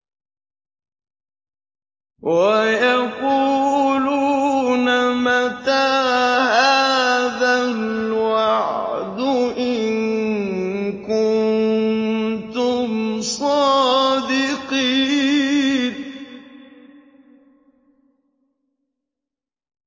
وَيَقُولُونَ مَتَىٰ هَٰذَا الْوَعْدُ إِن كُنتُمْ صَادِقِينَ